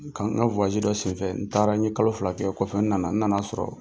Ka n ka wayagi dɔ senfɛ , n taara n ye kalo fila kɛ, kɔfɛ n nana , n nan'a sɔrɔ